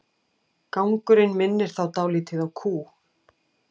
Gangurinn minnir þá dálítið á kú.